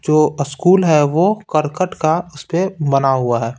जो स्कूल है वो करकट का उस पे बना हुआ है।